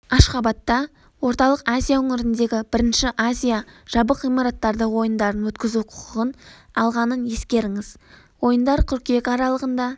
ашхабадта орталық азия өңіріндегі бірінші азия жабық ғимараттардағы ойындарын өткізу құқығын алғанын ескеріңіз ойындар қыркүйек аралығында